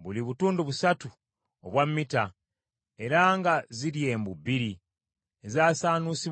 buli butundu busatu obwa mita, era nga ziri embu bbiri, ezasaanuusibwa nayo.